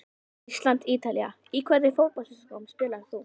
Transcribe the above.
Ísland- Ítalía Í hvernig fótboltaskóm spilar þú?